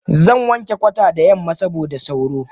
Zanwanke kwata da yamma saboda sauro.